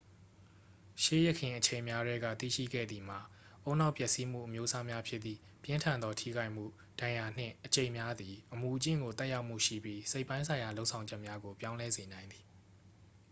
ရှေးယခင်အချိန်များထဲက သိရှိခဲ့သည်မှာ ဦးနှောက်ပျက်စီးမှုအမျိုးအစားများဖြစ်သည့် ပြင်းထန်သောထိခိုက်မှု ဒဏ်ရာနှင့် အကျိတ်များသည် အမူအကျင့်ကို သက်ရောက်မှုရှိပြီး စိတ်ပိုင်းဆိုင်ရာလုပ်ဆောင်ချက်များကိုပြောင်းလဲစေနိုင်သည်